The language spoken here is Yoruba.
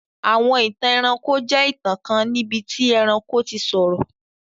Àwọn ìtàn ẹranko jẹ ìtàn kan níbití ẹranko ti sọ̀rọ̀.